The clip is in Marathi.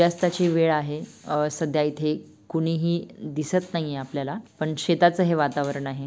यास्ताची वेळ आहे अ सध्या इथे कुणी ही दिसत नाही आपल्याला पण शेताच हे वातावरण आहे.